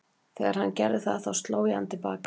Þegar hann gerði það þá sló ég hann til baka.